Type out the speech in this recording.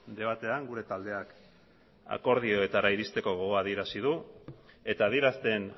debatean gure taldeak akordioetara irizteko gogoa adierazi du eta adierazten